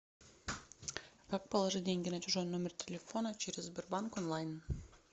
как положить деньги на чужой номер телефона через сбербанк онлайн